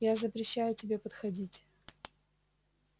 я запрещаю тебе подходить